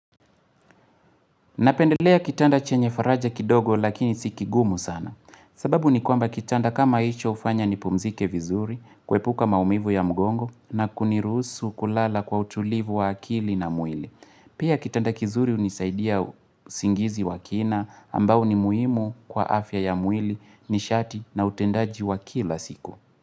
Napendelea kitanda chenye faraja kidogo lakini si kigumu sana. Sababu ni kwamba kitanda kama hicho hufanya nipumzike vizuri, kuepuka maumivu ya mgongo na kuniruhusu kulala kwa utulivu wa akili na mwili. Pia kitanda kizuri hunisaidia usingizi wa kina ambao ni muhimu kwa afya ya mwili nishati na utendaji wa kila siku.